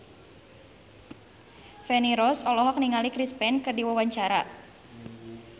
Feni Rose olohok ningali Chris Pane keur diwawancara